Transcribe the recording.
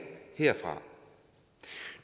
herfra